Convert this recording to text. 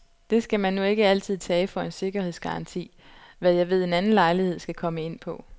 Det skal man nu ikke altid tage for en sikkerhedsgaranti, hvad jeg ved en anden lejlighed skal komme ind på.